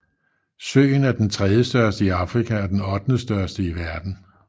Søen er den tredjestørste i Afrika og den ottendestørste i verden